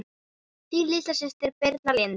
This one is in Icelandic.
Þín litla systir Birna Lind.